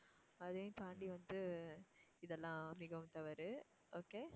அதையும் தாண்டி வந்து இதெல்லாம் மிகவும் தவறு okay